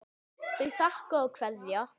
Þau þakka og kveðja.